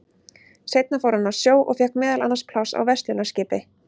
Seinna fór hann á sjó og fékk meðal annars pláss á verslunarskipi.